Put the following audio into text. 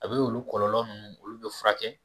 A be olu kɔlɔlɔ nunnu olu be furakɛ